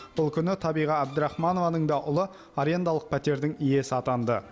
бұл күні табиға әбдірахманованың да ұлы арендалық пәтердің иесі атанды